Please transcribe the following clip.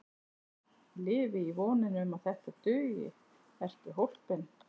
Lifi í voninni um að þetta dugi Ertu hólpinn?